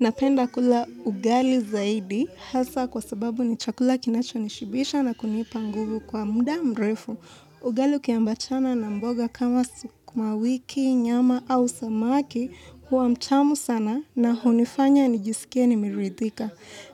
Napenda kula ugali zaidi hasa kwa sababu ni chakula kinachonishibisha na kunipa nguvu kwa muda mrefu. Ugali ukiambatana na mboga kama sukuma wiki, nyama au samaki huwa mchamu sana na hunifanya nijisikia nimeridhika.